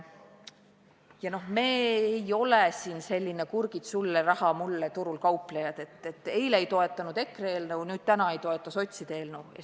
Ja me ei ole selline "kurgid sulle, raha mulle" turul kauplejad, et eile ei toetanud EKRE eelnõu ja täna ei toeta sotside eelnõu.